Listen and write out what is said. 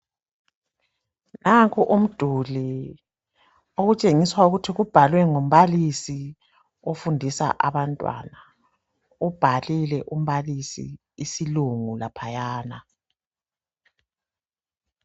Nanku umduli otshengisa ukuthi ubhalwe ngumbalusi ofundisa abantwana. Ubhalile umbalisi isilungu laphayana